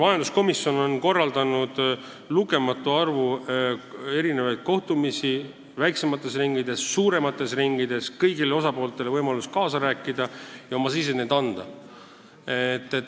Majanduskomisjon on korraldanud lugematu arvu mitmesuguseid kohtumisi väiksemates ringides, suuremates ringides, kõigil osapooltel on olnud võimalus kaasa rääkida ja oma sisend anda.